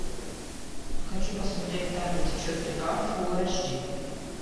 хочу посмотреть там где течет река фулл аш ди